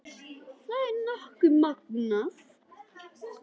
Það er nokkuð magnað.